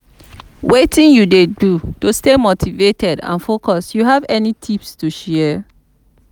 wetin you dey do to stay motivated and focused you have any tips to share?